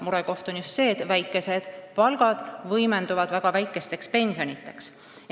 Murekoht on just see, et väikesed palgad võimenduvad väga väikesteks pensionideks.